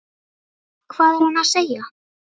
Hvað er hann að segja?